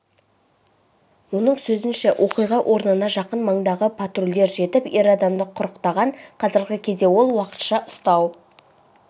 оның сөзінше оқиға орнына жақын маңдағы патрульдер жетіп ер адамды құрықтаған қазіргі кезде ол уақытша ұстау